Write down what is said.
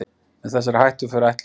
Með þessari hættuför ætluðu